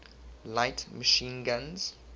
light machine guns